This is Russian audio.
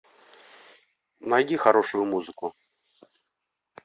найди хорошую музыку